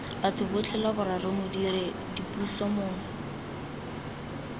batho botlhe lwaboraro modiredipuso mongwe